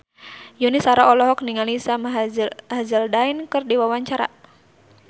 Yuni Shara olohok ningali Sam Hazeldine keur diwawancara